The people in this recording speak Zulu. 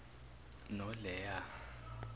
noleya